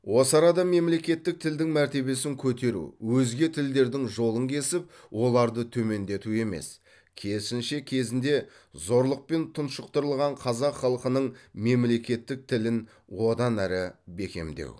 осы арада мемлекеттік тілдің мәртебесін көтеру өзге тілдердің жолын кесіп оларды төмендету емес керісінше кезінде зорлықпен тұншықтырылған қазақ халқының мемлекеттік тілін одан ары бекемдеу